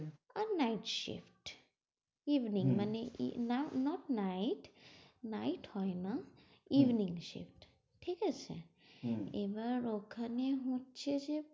আর night shift evening মানে এ now not night night হয় না evening shift ঠিক আছে। এবার ওখানে হচ্ছে যে